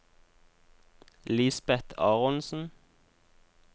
Lisbeth Aronsen